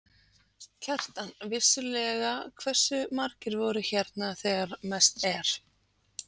Kjartan: Vissulega, hversu margir voru hérna þegar mest er?